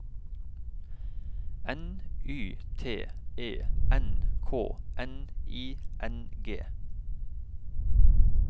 N Y T E N K N I N G